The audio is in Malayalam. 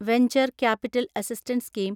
venture capital assistance scheme